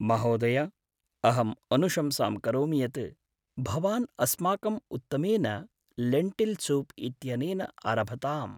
महोदय! अहम् अनुशंसां करोमि यत् भवान् अस्माकं उत्तमेन लेण्टिल् सूप् इत्यनेन आरभताम्।